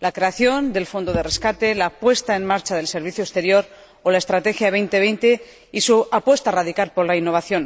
la creación del fondo de rescate, la puesta en marcha del Servicio Europeo de Acción Exterior o la Estrategia Europa 2020 y su apuesta radical por la innovación.